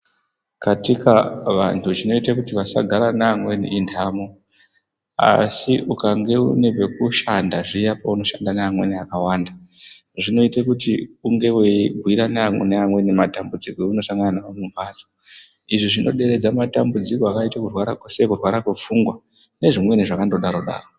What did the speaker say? Katika vantu chinoite kuti vasagara nevamweni intamo asi ukange une pakushanda zviya paunoshanda nevamweni vakawanda zvinoite kuti unge weibhirana nevamweni matambudziko aunosangana nawo mumbatso izvi zvinoderedza madambudziko akaita kurwara kose kurwara kwepfungwa nezvimweni zvakandodaro daro.